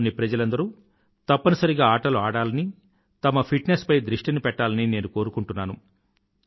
దేశంలోని ప్రజలందరూ తప్పనిసరిగా ఆటలు ఆడాలనీ తమ ఫిట్ నెస్ పై దృష్టిని పెట్టాలని నేను కోరుకుంటున్నాను